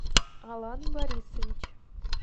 алан борисович